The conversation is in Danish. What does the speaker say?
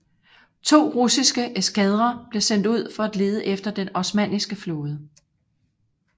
To russiske eskadrer blev sendt ud for at lede efter den osmanniske flåde